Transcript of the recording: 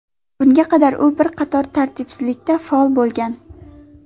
Bunga qadar u bir qator tartibsizliklarda faol bo‘lgan.